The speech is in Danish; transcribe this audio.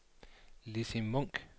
Lissy Munch